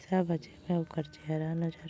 छ: बजे ला-- चेहरा नजर--